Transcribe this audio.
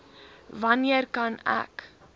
wanneer kan ek